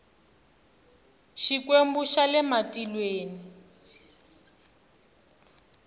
xikwembu xa le matilweni